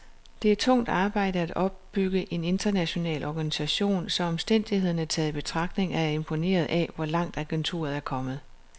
Det er tungt arbejde at opbygge en international organisation, så omstændighederne taget i betragtning er jeg imponeret af, hvor langt agenturet er kommet.